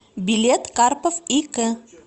билет карпов и к